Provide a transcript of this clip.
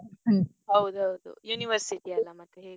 ಹ್ಮ್ ಹೌದೌದು university ಅಲ್ಲ ಮತ್ತೆ ಹೇಗೂ.